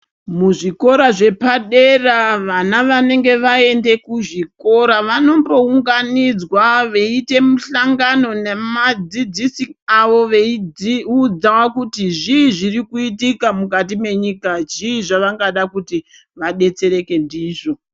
Muzvikora zvepadera vana vanenge vaende kuzvikora, vanombounganidzwa veiite muhlangano namadzidzisi avo veidzi udzwa kuti zvii zviri kuitika mukati mwenyika, zviri zvavangada kuti, vadetsereke ndizvo.